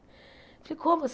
Falei, como